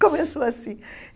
Começou assim.